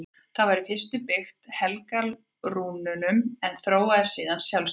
Það var í fyrstu byggt á helgirúnunum en þróaðist síðan sjálfstætt.